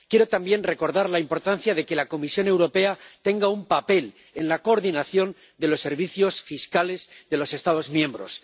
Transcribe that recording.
Quiero también recordar la importancia de que la Comisión Europea tenga un papel en la coordinación de los servicios fiscales de los Estados miembros.